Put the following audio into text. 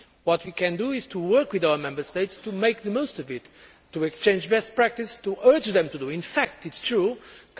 What we can do is to work with the Member States to make the most of these, to exchange best practice and to urge them to follow this.